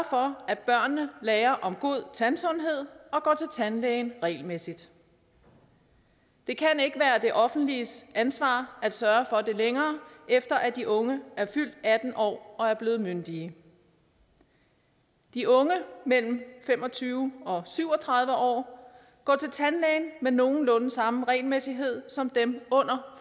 for at børnene lærer om god tandsundhed og går til tandlægen regelmæssigt det kan ikke være det offentliges ansvar at sørge for det længere efter at de unge er fyldt atten år og er blevet myndige de unge mellem fem og tyve og syv og tredive år går til tandlægen med nogenlunde samme regelmæssighed som dem under